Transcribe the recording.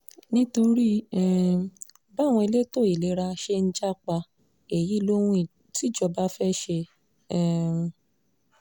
nítorí um báwọn elétò ìlera ṣe ń jà pa èyí lohun tíjọba fẹ́ẹ́ ṣe um